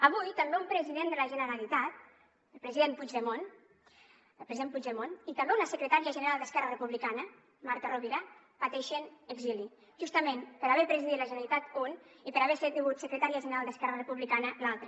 avui també un president de la generalitat el president puigdemont i també una secretària general d’esquerra republicana marta rovira pateixen exili justament per haver presidit la generalitat un per haver sigut secretària general d’esquerra republicana l’altra